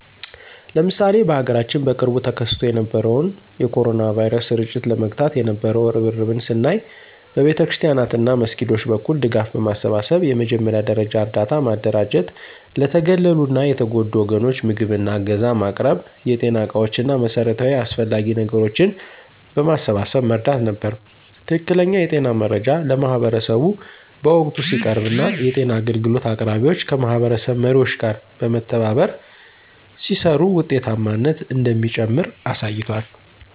ለምሳሌ በሀገራችን በቅርቡ ተከስቶ የነበረውን የ ኮሮና ቫይረስ ስርጭት ለመግታት የነበው እርብርብን ስናይ በቤተክርስቲያናት እና መስጊዶች በኩል ድጋፍ በማሰባሰብ የመጀመሪያ ደረጃ እርዳታ ማደራጀት ለተገለሉ እና የተጎዱ ወገኖች ምግብ እና ዕገዛ ማቅረብ የጤና ዕቃዎች እና መሠረታዊ አስፈላጊ ነገሮችን በማሰባሰብ መርዳት ነበር። ትክክለኛ የጤና መረጃ ለማህበረሰቡ በወቅቱ ሲቀርብ እና የጤና አገልግሎት አቅራቢዎች ከማህበረሰብ መሪዎች ጋር በመተባበር ሲሰሩ ውጤታማነት እንደሚጨምር አሳይቷል።